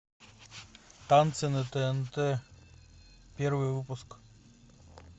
танцы на тнт первый выпуск